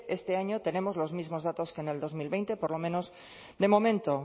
este año tenemos los mismos datos que en el dos mil veinte por lo menos de momento